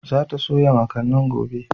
Za ta soya makanin gobe.